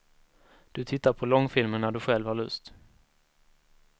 Du tittar på långfilmen när du själv har lust.